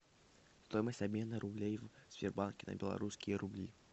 стоимость обмена рублей в сбербанке на белорусские рубли